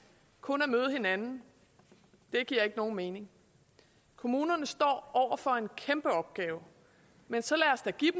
kun at møde hinanden det giver ikke nogen mening kommunerne står over for en kæmpeopgave men så lad os da give